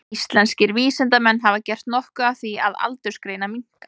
Íslenskir vísindamenn hafa gert nokkuð af því að aldursgreina minka.